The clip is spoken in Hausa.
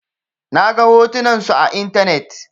Na ga hotunan su a intanet.